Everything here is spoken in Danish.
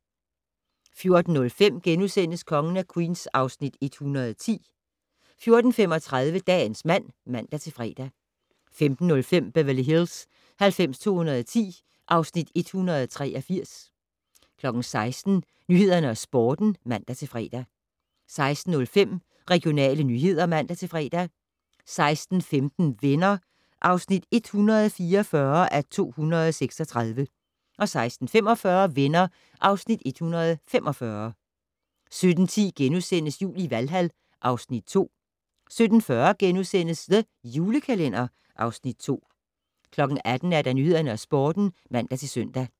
14:05: Kongen af Queens (Afs. 110)* 14:35: Dagens mand (man-fre) 15:05: Beverly Hills 90210 (Afs. 183) 16:00: Nyhederne og Sporten (man-fre) 16:05: Regionale nyheder (man-fre) 16:15: Venner (144:236) 16:45: Venner (Afs. 145) 17:10: Jul i Valhal (Afs. 2)* 17:40: The Julekalender (Afs. 2)* 18:00: Nyhederne og Sporten (man-søn)